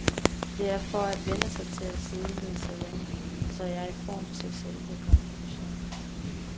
Det er for at vænne sig til at sidde ned så længe, så jeg er i form til selve konfirmationen.